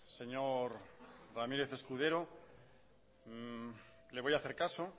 señor ramírez escudero le voy a hacer caso